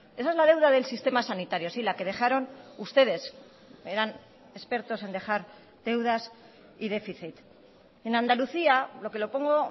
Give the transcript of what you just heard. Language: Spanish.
esa es la deuda del sistema sanitario sí la que dejaron ustedes eran expertos en dejar deudas y déficit en andalucía lo que lo pongo